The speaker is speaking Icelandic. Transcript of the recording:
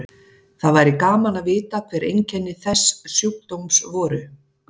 Það væri gaman að vita hver einkenni þess sjúkdóms voru.